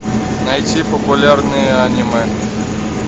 найти популярные аниме